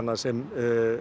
sem